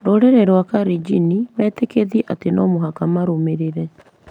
Rũrĩrĩ rwa Kalenjin metĩkĩtie atĩ no mũhaka marũmĩrĩre